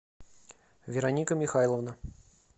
вероника михайловна